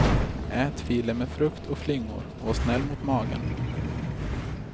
Ät filen med frukt och flingor och var snäll mot magen.